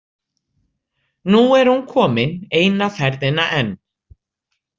Nú er hún komin eina ferðina enn.